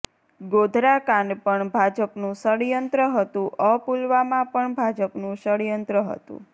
ગોધરાકાંડ પણ ભાજપનું ષડયંત્ર હતું અ પુલવામા પણ ભાજપનું ષડયંત્ર હતું